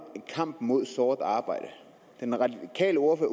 kampen mod sort arbejde den radikale ordfører